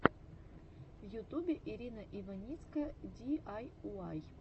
в ютубе ирина иваницкая ди ай уай